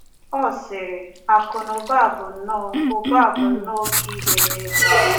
Ọ sịrị: Akụ na ụba bụ nnọọ ụba bụ nnọọ oké ihe n’ebe a.